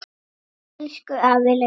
Elsku afi Laugi.